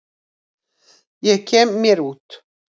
Ég kem mér út.